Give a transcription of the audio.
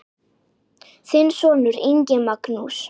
Þinn sonur, Ingi Magnús.